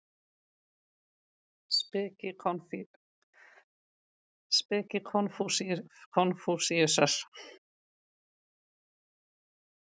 Speki Konfúsíusar.